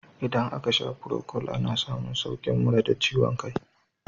Idan aka sha furokol, ana samun saukin mura da ciwon kai.